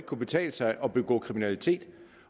kunne betale sig at begå kriminalitet